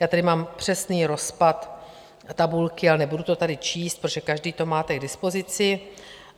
Já tady mám přesný rozpad tabulky, ale nebudu to tady číst, protože každý to máte k dispozici.